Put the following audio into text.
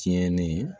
Tiɲɛnen